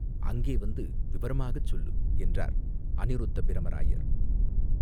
அங்கே வந்து விவரமாகச் சொல்லு!" என்றார் அநிருத்தப் பிரமராயர்.